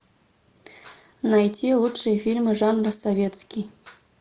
найти лучшие фильмы жанра советский